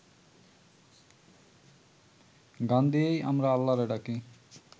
গান দিয়াই আমরা আল্লারে ডাকি